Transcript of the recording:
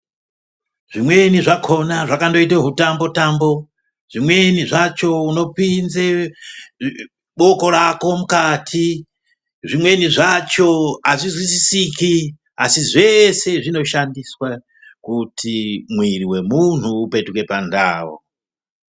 Zvimweni zvakona zvakandoite hutambo -tambo ,zvimweni zvacho unopinze boko rako mukati, zvimweni zvacho azvizwisisiki asi zveshe zvinoshandiswe kuti mwiri wemuntu upetuke pandau.